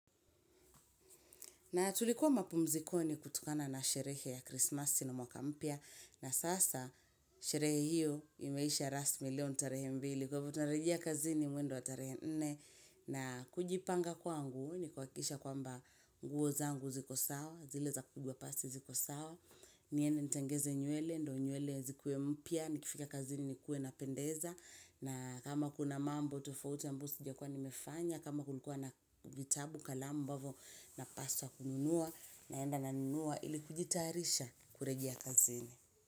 Na tulikuwa mapumzikoni kutokana na sherehe ya Christmas ile mwaka mpya. Na sasa sherehe hiyo imeisha rasmi leo ni tarehe mbili. Sababu utarejea kazini mwendo wa tarehe nne. Na kujipanga kwangu, nikuhakikisha kwamba nguo zangu ziko sawa. Zile za kupigwa pasi ziko sawa. Niende nitengeze nywele, ndo nywele zikuwe mpya. Nikifika kazini nikuwe napendeza. Na kama kuna mambo, tofauti ambayo sijakuwa nimefanya. Kama kulikua na vitabu kalamu ambavyo napaswa kununua naenda nanunuwa ili kujitarisha kuregia kazene.